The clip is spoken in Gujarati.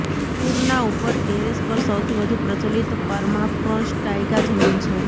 પુરના ઉપર ટેરેસ પર સૌથી વધુ પ્રચલિત પર્માફ્રોસ્ટ તાઇગા જમીન છે